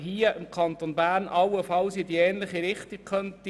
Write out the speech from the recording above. Hier im Kanton Bern könnte man allenfalls in eine ähnliche Richtung gehen.